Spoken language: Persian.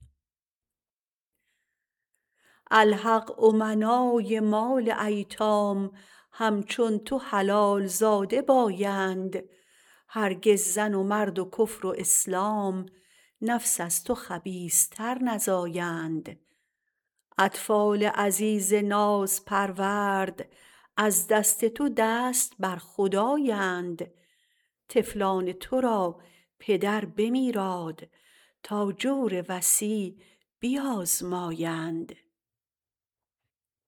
الحق امنای مال ایتام همچون تو حلال زاده بایند هرگز زن و مرد و کفر و اسلام نفس از تو خبیث تر نزایند اطفال عزیز نازپرورد از دست تو دست بر خدایند طفلان تو را پدر بمیراد تا جور وصی بیازمایند